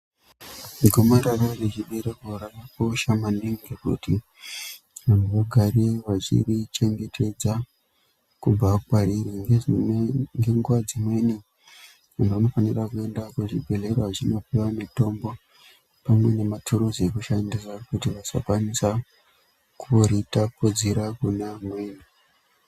Gomarara rechibereko rakakosha maningi kuti vanthu vagare vachiri chengetedza kubva kwariri. Ngenguwa dzimweni tinofanira kuenda kuzvibhedhleya vachinopuwa mutombo pamwe nematuruzi ekushandisa kuti vasakwanisa kuritapudzira kune amweni.